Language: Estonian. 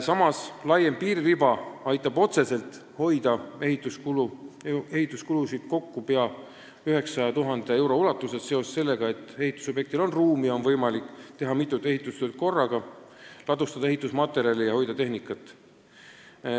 Samas, laiem piiririba aitab otseselt ehituskulusid kokku hoida pea 900 000 euro ulatuses, kuna ehitusobjektil on ruumi ja on võimalik teha mitut ehitustööd korraga, ladustada ehitusmaterjale ja hoida tehnikat.